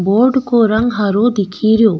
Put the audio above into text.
Board को रंग हरो दिखेरो।